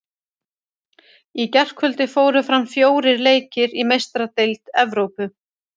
Í gærkvöldi fóru fram fjórir leikir í Meistaradeild Evrópu.